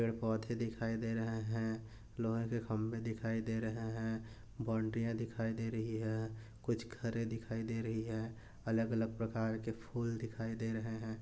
पेड़ पौधे दिखाई दे रहे हैं लोहे के खंबे दिखाई दे रहे हैं बॉउंड्रीया दिखाई दे रही हैं कुछ घरे दिखाई दे रही हैं अलग अलग प्रकार के फूल दिखाई दे रहे हैं।